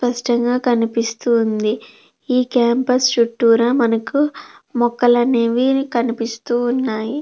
స్పష్టంగా కనిపిస్తుంది ఈ క్యాంపస్ చుట్టూరా మనకు మొక్కలు అనేవి కనిపిస్తూ ఉన్నాయి.